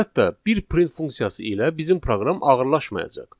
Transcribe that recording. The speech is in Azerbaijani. Əlbəttə, bir print funksiyası ilə bizim proqram ağırlaşmayacaq.